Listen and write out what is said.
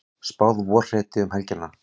Spáð vorhreti um helgina